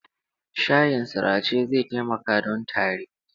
Shayin sirace zai taimaka don tari.